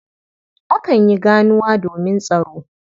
Akan yi ganuwa domin tsaro.